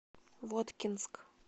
воткинск